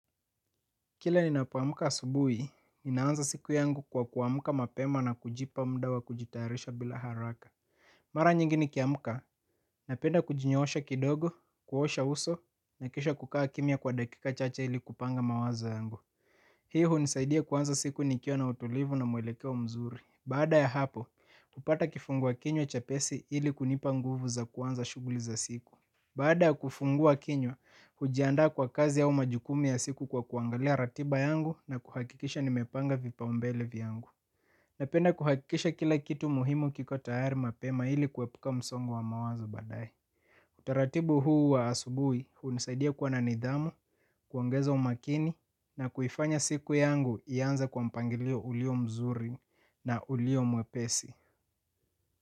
Kila ninapuamka asubuhi, inaanza siku yangu kwa kuamka mapema na kujipa mudawa kujitayarisha bila haraka. Mara nyingini kiamka, napenda kujinyoosha kidogo, kuosha uso, na kisha kukaa kimya kwa dakika chache ili kupanga mawazo yangu. Hii hunisaidia kuanza siku nikiwa na utulivu na muelekeo mzuri. Baada ya hapo, kupata kifungua kinywa chepesi ili kunipa nguvu za kuanza shughuli za siku. Baada ya kufungua kinywa, hujiandaa kwa kazi au majukumu ya siku kwa kuangalia ratiba yangu na kuhakikisha nimepanga vipa umbele vyangu. Napenda kuhakikisha kila kitu muhimu kiko tayari mapema ili kuepuka msongo wa mawazo badae. Utaratibu huu wa asubuhi, hunisaidia kuwa nanidhamu, kuongeza umakini na kuifanya siku yangu ianze kwa mpangilio ulio mzuri na ulio mwepesi.